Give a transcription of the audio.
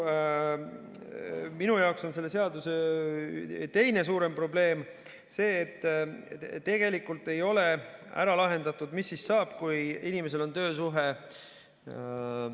Minu jaoks on selle seaduse teine suurem probleem see, et tegelikult ei ole ära lahendatud, mis siis saab, kui inimesel on töösuhe.